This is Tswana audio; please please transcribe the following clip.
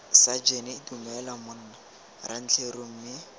sajene dumela monna rantleru mme